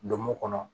Donmo kɔnɔ